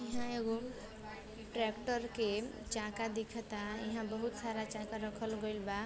इहाँ एगो ट्रेक्टर के चाका दिखता। इहाँ बहुत सारा चाका रखल गईल बा।